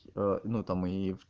ну там и в